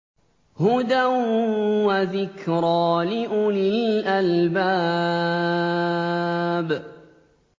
هُدًى وَذِكْرَىٰ لِأُولِي الْأَلْبَابِ